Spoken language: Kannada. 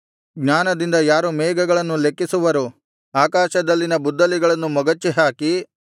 ಜ್ಞಾನದಿಂದ ಯಾರು ಮೇಘಗಳನ್ನು ಲೆಕ್ಕಿಸುವರು ಆಕಾಶದಲ್ಲಿನ ಬುದ್ದಲಿಗಳನ್ನು ಮೊಗಚಿಹಾಕಿ